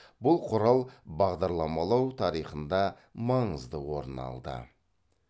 бұл құрал бағдарламалау тарихында маңызды орын алды